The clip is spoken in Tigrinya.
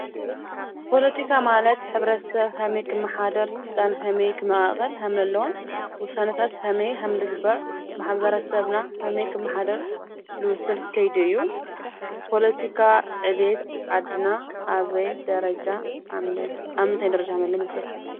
ፖለቲካ ማለት ሕብረተሰብ ከመይ ክመሓደር ፣ ስልጣን ከመይ ክመቃቅል ከም ዘለዎ፣ ውሳነታት ከመይ ከም ዝግበር ፣ ማሕበረሰብና ከመይ ክመሓደር ዝውስን ከይዲ እዩ፡፡ ፖለቲካ ዕብየት ዓድና አብ ምንታይ ደረጃ ከም ዘሎ ይመስለኩም?